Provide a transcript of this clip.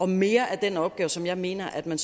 mere af den opgave som jeg mener at man